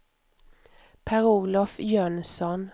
Per-Olof Jönsson